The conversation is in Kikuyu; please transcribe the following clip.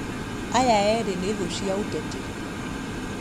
Aya eri nĩ thũ cia ũteti